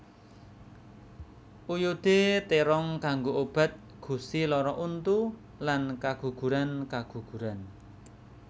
Oyodé térong kanggo obat gusi lara untu lan kagugurankaguguran